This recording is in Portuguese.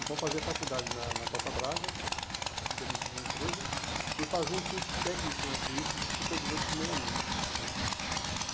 Então eu fazia faculdade na na Costa Braga, de administração de empresa, e fazia um curso técnico no Senado Suíço de supervisor de primeira linha né.